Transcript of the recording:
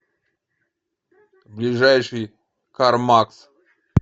ближайший кармакс